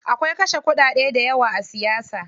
Akwai kashe kuɗade dayawa a siyasa.